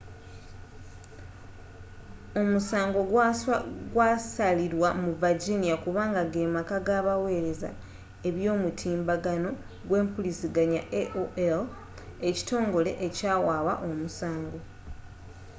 omusango gwasalilwa mu virginia kubanga gemaka gabawereza eby'omutimbagano gwempuliziganya aol ekitongole ekyawaaba omusango